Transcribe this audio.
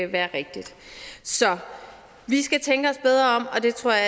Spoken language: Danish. være rigtigt så vi skal tænke os bedre om og det tror jeg